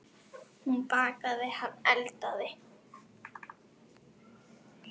Hún bakaði, hann eldaði.